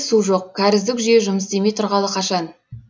су жоқ кәріздік жүйе жұмыс істемей тұрғалы қашан